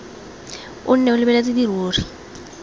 o nne o lebeletse dirori